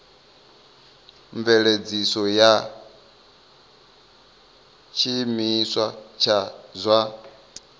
mveledziso ya tshiimiswa tsha zwa